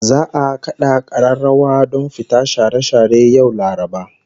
Za'a kada kararrawa don fita share share yau Laraba